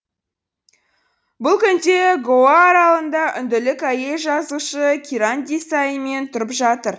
бұл күнде гоа аралында үнділік әйел жазушысы киран десаимен тұрып жатыр